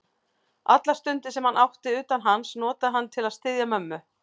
Allar stundir, sem hann átti utan hans, notaði hann til að styðja mömmu.